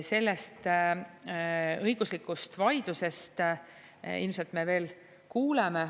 Sellest õiguslikust vaidlusest ilmselt me veel kuuleme.